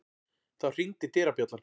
Þá hringdi dyrabjallan.